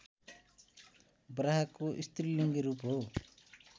बराहको स्त्रीलिङ्गी रूप हो